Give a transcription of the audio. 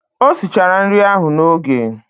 O sichara nri ahụ n'oge.